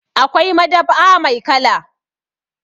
Akwai madab'a mai kala.